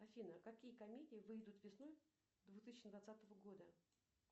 афина какие комедии выйдут весной две тысячи двадцатого года